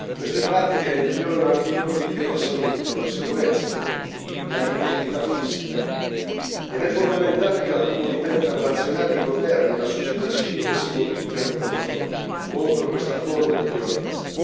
Queste pratiche violano anche i loro diritti alla salute e alla sicurezza e all'integrità fisica, ed è fondamentale che la comunità internazionale, i governi e la società civile si mobilitino contro questa forma di violenza.